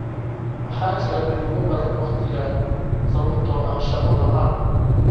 Waxaa jira tuugo badan wakhtigan sababtoo ah shaqo la'aan